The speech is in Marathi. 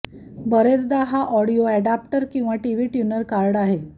बरेचदा हा ऑडिओ ऍडाप्टर किंवा टीव्ही ट्यूनर कार्ड आहे